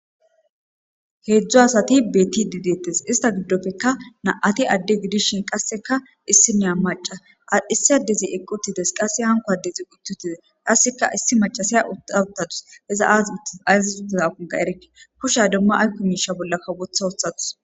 Hezdzdu asati betidi detes, ista gidoppekka na'ati Ade gidishn qaseka issinya maca , ha adezi eqi utudes , qaseka hanko adezi uti utides, qaseka issi macashiya uta utadusi, iza azis utidakoka erike ,kusha demo ayko misha bollaka wotha wothadus.